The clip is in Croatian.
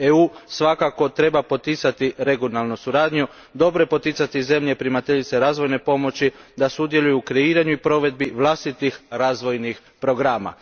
EU svakako treba poticati regionalnu suradnju, dobro je poticati zemlje primateljice razvojne pomoći da sudjeluju u kreiranju i provedbi vlastitih razvojnih programa.